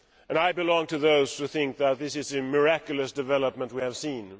I belong to those who think that this is a miraculous development that we have seen.